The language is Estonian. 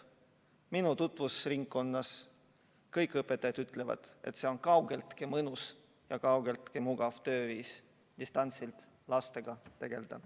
Minu tutvusringkonnas kõik õpetajad ütlevad, et see pole kaugeltki mõnus ega mugav tööviis, kui peab distantsilt lastega tegelema.